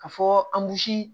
Ka fɔ